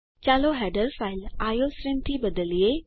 ચાલો header file iostream થી બદલીએ